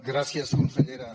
gràcies consellera